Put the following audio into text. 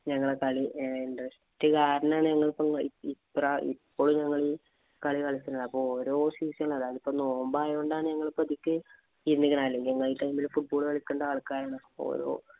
ഞങ്ങളടെ കളി interest കാരണമാണ് ഞങ്ങളിപ്പോ ഞങ്ങളീ കളി കളിക്കുന്നത്. ഇപ്പൊ ഓരോ season ഇലും ഇപ്പൊ നോമ്പ് ആയോണ്ടാണ് ഞങ്ങള് പതുക്കെ അല്ലെങ്കില് ഞങ്ങളീ time ഇല് football കളിക്കേണ്ട ആള്‍ക്കാരാണ്. അപ്പൊ ഓരോ